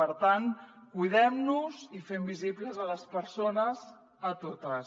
per tant cuidem nos i fem visibles les persones totes